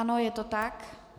Ano, je to tak.